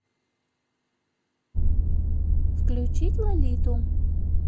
включить лолиту